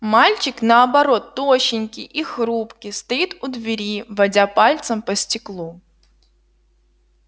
мальчик наоборот тощенький и хрупкий стоит у двери водя пальцем по стеклу